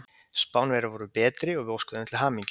Spánverjar voru betri og við óskum þeim til hamingju.